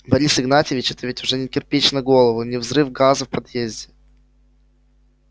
борис игнатьевич это ведь уже не кирпич на голову и не взрыв газа в подъезде